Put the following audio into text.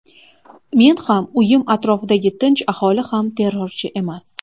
Men ham, uyim atrofidagi tinch aholi ham terrorchi emas.